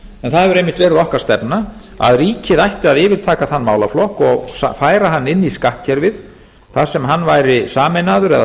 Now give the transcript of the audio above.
en það hefur einmitt verið okkar stefna að ríkið ætti að yfirtaka þann málaflokk og færa hann inn í skattkerfið þar sem hann væri sameinaður eða